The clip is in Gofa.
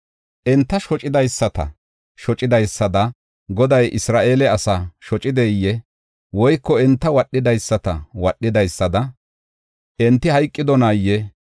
Enta shocidaysata shocidaysada Goday Isra7eele asaa shocideyee? Woyko enta wodhidaysata wodhidaysada enti hayqidonaayee?